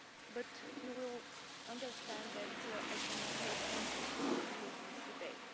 But you will understand that I cannot make any specific commitments today.